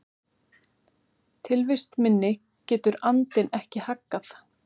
Tilvist minni getur andinn ekki haggað.